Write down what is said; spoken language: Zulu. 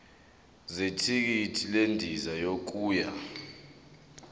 zethikithi lendiza yokuya